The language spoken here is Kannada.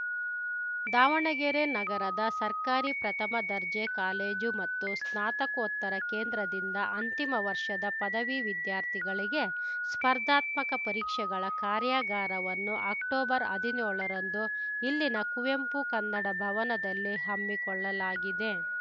ದಾವಣಗೆರೆ ನಗರದ ಸರ್ಕಾರಿ ಪ್ರಥಮ ದರ್ಜೆ ಕಾಲೇಜು ಮತ್ತು ಸ್ನಾತಕೋತ್ತರ ಕೇಂದ್ರದಿಂದ ಅಂತಿಮ ವರ್ಷದ ಪದವಿ ವಿದ್ಯಾರ್ಥಿಗಳಿಗೆ ಸ್ಪರ್ಧಾತ್ಮಕ ಪರೀಕ್ಷೆಗಳ ಕಾರ್ಯಾಗಾರವನ್ನು ಅಕ್ಟೊಬರ್ಹದಿ ನ್ಯೋಳರಂದು ಇಲ್ಲಿನ ಕುವೆಂಪು ಕನ್ನಡ ಭವನದಲ್ಲಿ ಹಮ್ಮಿಕೊಳ್ಳಲಾಗಿದೆ